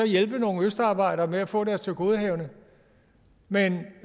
hjælpe nogle østarbejdere med at få deres tilgodehavende men